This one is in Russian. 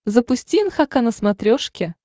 запусти нхк на смотрешке